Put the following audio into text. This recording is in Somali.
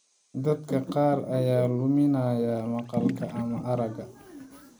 Dadka qaar ayaa luminaya maqalka ama aragga.